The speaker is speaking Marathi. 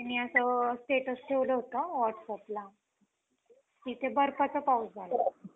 त्याने असं status ठेवलं होतं whats app ला, तिथे बर्फाचा पाऊस झाला.